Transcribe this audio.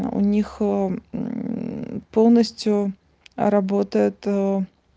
у них полностью работает